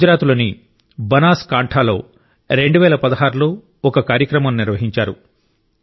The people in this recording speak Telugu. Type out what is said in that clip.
గుజరాత్లోని బనాస్ కాంఠ లో 2016 లో ఒక కార్యక్రమం నిర్వహించారు